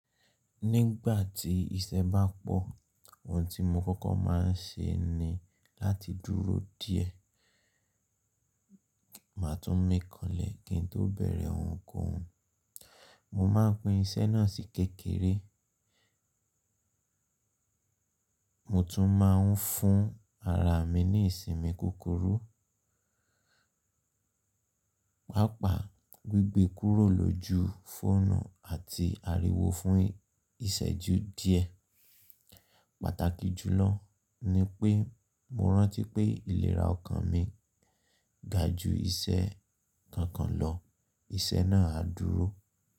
Nígbà tí iṣẹ́ bá pọ̀, ohun tí mo kọ́kọ́ má a ń ṣe ní láti dúró díẹ̀. Máa tún mi kànlẹ́ kí n tó bẹ̀rẹ̀ ohunkóhun. Mo máa ń pín iṣẹ́ náà sí kékeré. Mo tún ma ń fún ara mi ní ìsinmi kúkúrú, pàápàá gbigbe kúrò lójú fóònù àti ariwo fún ìṣẹ́jú díẹ̀. Pàtàkì jùlọ ni pé mo rántí pé ìlera ọkàn mi ga ju iṣẹ́ kankan lọ. Iṣẹ́ náà á dúró.